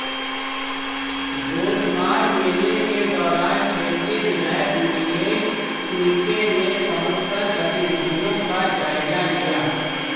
गोटमार मेले के दौरान क्षेत्रीय विधायक नीलेश उईके ने पहुंचकर गतिविधियों का जायजा लिया